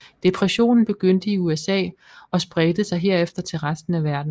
Depressionen begyndte i USA og spredte sig herefter til resten af verden